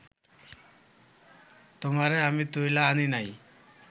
তুমারে আমি তুইলা আনি নাই